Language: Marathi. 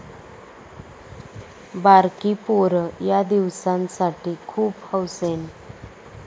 बारकी पोरं यादिवसांसाठी खूप हौसेनं